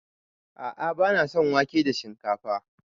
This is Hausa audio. A'a bana son wake da shinkafa.